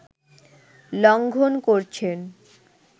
লঙ্ঘন করছেন